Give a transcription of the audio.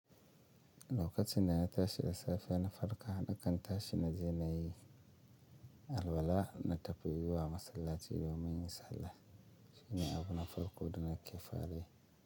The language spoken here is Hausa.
Lokacin dana tashi da safe na farka, nakan tashi na je na yi alwala na tafi in zuwa masallaci domin in yi sallah. Shi ne abu na farko da na ke farayi.